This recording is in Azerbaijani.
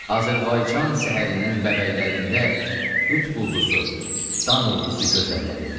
Azərbaycan səhərinin bəbəklərində Qütb Ulduzu, dan Ulduzu gözəlləridir.